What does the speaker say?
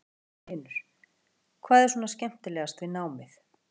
Magnús Hlynur: Hvað er svona skemmtilegast við námið?